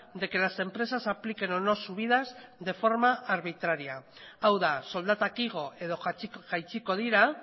de que las empresas apliquen o no subidas de forma arbitraria hau da soldatak igo edo jaitsiko dira